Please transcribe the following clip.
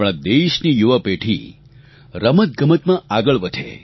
આપણા દેશની યુવાપેઢી રમતગમતમાં આગળ વધે